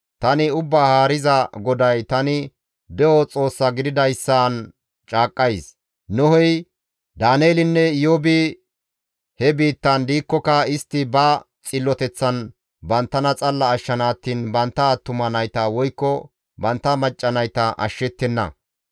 tani Ubbaa Haariza GODAY tani de7o Xoossa gididayssan caaqqays: Nohey, Daaneelinne Iyoobi he biittan diikkoka istti ba xilloteththan banttana xalla ashshana attiin bantta attuma nayta woykko bantta macca naytakka ashshettenna.